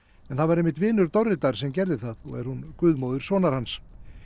en það var einmitt vinur sem gerði það og er hún guðmóðir sonar hans